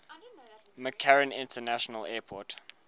mccarran international airport